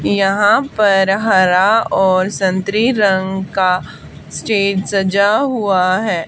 यहां पर हरा और संतरी रंग का स्टेज सजा हुआ है।